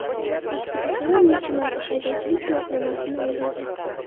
Aktrisalar necha marta haydovchilik guvohnomasini oldirgan?.